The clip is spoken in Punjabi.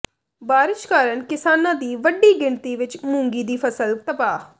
ਬਾਰਿਸ਼ ਕਾਰਨ ਕਿਸਾਨਾਂ ਦੀ ਵੱਡੀ ਗਿਣਤੀ ਵਿਚ ਮੂੰਗੀ ਦੀ ਫ਼ਸਲ ਤਬਾਹ